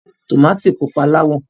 Tòmátì pupa láwọ̀.